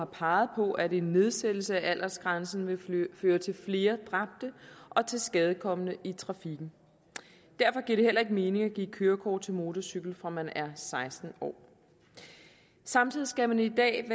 peget på at en nedsættelse af aldersgrænsen vil føre til flere dræbte og tilskadekomne i trafikken derfor giver det heller ikke mening at give kørekort til motorcykel fra man er seksten år samtidig skal man i dag